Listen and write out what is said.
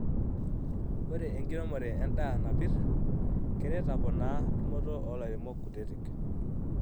Ore enkiremore endaa napir keret aponaa tumoto olairemok kutiti.